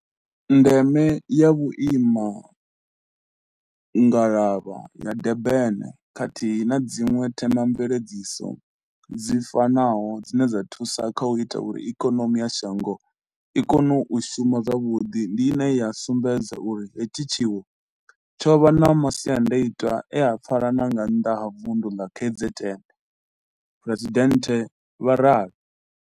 Ndeme ya Vhuimangalavha ya Durban khathihi na dziṅwe themamveledziso dzi fanaho dzine dza thusa kha u ita uri ikonomi ya shango i kone u shuma zwavhuḓi ndi ine ya sumbedza uri hetshi tshiwo tsho vha na masiandaitwa e a pfala na nga nnḓa ha vunḓu ḽa KZN, Phresidennde vha ralo.